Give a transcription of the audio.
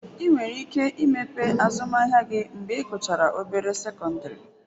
ị nwere ike imepe azụmahịa gị mgbe I guchara obere sekọndịrị